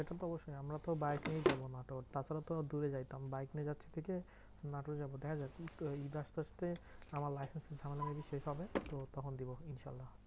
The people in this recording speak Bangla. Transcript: সেটা তো অবশ্যই আমরা তো বাইক নিয়েই যাবো নাটোর। তারপরে তো দূরে যাইতাম বাইক নিয়ে যাচ্ছি ঠিকে নাটোর যাবো। দেখাযাক এইতো ঈদ আসতে আসতে আমার licence এর ঝামেলা maybe শেষ হবে, তো তখন দিবো ইনশাআল্লা।